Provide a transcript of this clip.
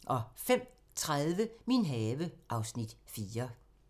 05:30: Min have (Afs. 4)